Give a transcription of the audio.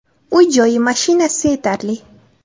Uy-joyi, mashinasi yetarli.